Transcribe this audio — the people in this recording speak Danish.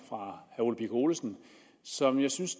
ole birk olesen som jeg synes